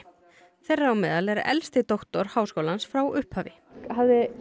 þeirra á meðal er elsti doktor háskólans frá upphafi hafði